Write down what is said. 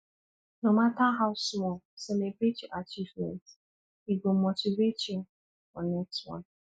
no matter how small celebrate your achievements e go motivate you for next one